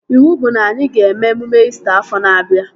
Iwu bụ na anyị ga-eme emume İsita afọ na-abịa